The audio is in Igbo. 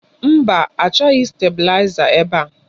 Mba, achọghị stabụlaiza ebe a.